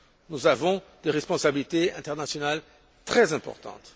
Nous avons des responsabilités internationales très importantes.